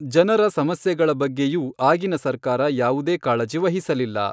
ಜನರ ಸಮಸ್ಯೆಗಳ ಬಗ್ಗೆಯೂ ಆಗಿನ ಸರ್ಕಾರ ಯಾವುದೇ ಕಾಳಜಿ ವಹಿಸಲಿಲ್ಲ.